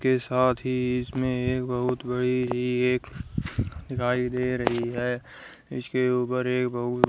के साथ ही इसमें एक बहुत बड़ी ही एक दिखाई दे रही है इसके ऊपर एक बहुत --